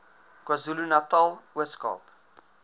kwazulunatal ooskaap